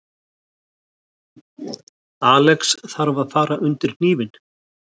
Alex þarf að fara undir hnífinn